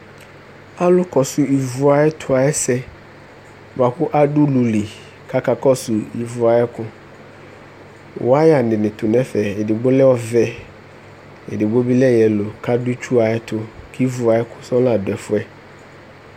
Alʋkɔsʋ ivu ayɛtʋ ayʋ ɛsɛ bʋa kʋ adʋ ulu li kʋ akakɔsʋ ivu ayʋ ɛkʋ Wayanɩ tʋ nʋ ɛfɛ Edigbo lɛ ɔvɛ, edigbo bɩ lɛ yelo kʋ adʋ itsu ayʋ ɛtʋ Kʋ ivu ayʋ ɛkʋ sɔɔ la dʋ ɛfʋ yɛ